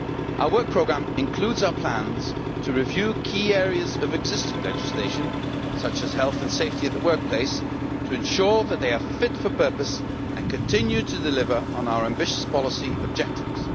Our Work Programme includes our plans to review key areas of existing legislation such as health and safety at the workplace, to ensure that they are fit for purpose and continue to deliver on our ambitious policy objectives.